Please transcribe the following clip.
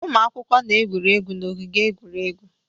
Ụmụ akwụkwọ na-egwuri egwu n'ogige egwuregwu